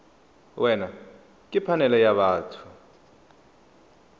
wena ke phanele ya batho